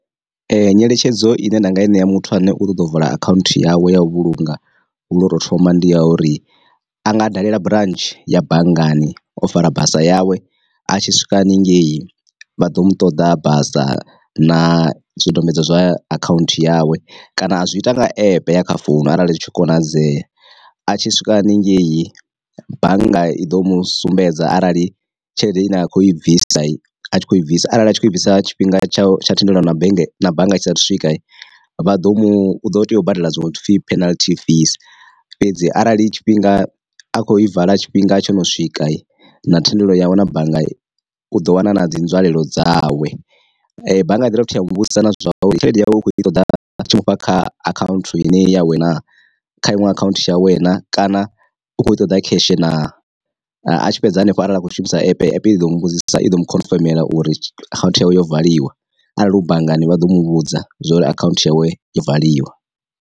Nyeletshedzo ine nda nga i ṋea muthu ane u kho ḓo vula akhaunthu yawe ya u vhulunga lotou thoma ndi ya uri, a nga dalela branch ya banngani o fara basa yawe a tshi swika haningei vha ḓo mu ṱoḓa a basa na zwidodombedzwa zwa akhaunthu yawe, kana a zwi ita nga epe ya kha founu arali zwi tshi konadzea, a tshi swika haningei bannga i ḓo mu sumbedza arali tshelede ine a khou i bvisa a tshi kho i bvisa arali a tshi kho bvisa tshifhinga tsha tsha thendelo na bege na bannga tshisa thu swika, vha ḓo mu ḓo tea u badela zwino pfi penalty fees, fhedzi arali tshifhinga a khou i vala tshifhinga tsho no swika na thendelo yawe na bannga u ḓo wana na dzi nzwalelo dzawe. Bannga i ḓovha futhi ya mu vhudzisa na zwa uri tshelede yawu u kho i ṱoḓa tshi mufha kha akhanthu ya we na kha iṅwe akhaunthu ya we na kana u kho ṱoḓa kheshe na, a tshi fhedza hanefho arali a kho shumisa epe i ḓo muvhudzisa i ḓo mu khonfemela uri account yawe yo valiwa arali hu banngani vha ḓo mu vhudza zwori akhaunthu yawe yo valiwa.